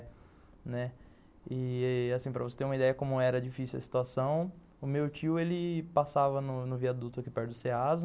Né, e, para você ter uma ideia de como era difícil a situação, o meu tio passava no viaduto aqui perto do Ceasa.